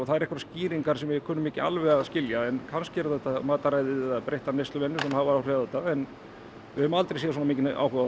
eru einhverjar skýringar sem við kunnum ekki alveg að skilja en kannski er þetta matarræði eða breyttar neysluvenjur sem hafa áhrif á þetta en við höfum aldrei séð svona mikinn áhuga á